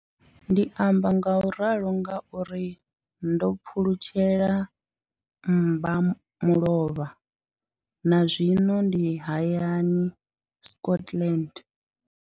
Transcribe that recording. Ndi amba ngauralo nga uri ndo pfulutshela mmba mulovha na zwino ndi hayani, Scotland.